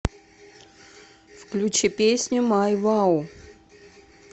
включи песню май вау